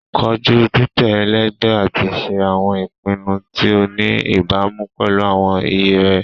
Koju titẹ ẹlẹgbẹ ati ṣe awọn ipinnu ti o ni ibamu pẹlu awọn iye rẹ